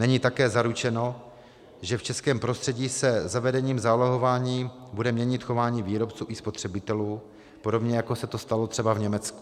Není také zaručeno, že v českém prostředí se zavedením zálohování bude měnit chování výrobců i spotřebitelů, podobně jako se to stalo třeba v Německu.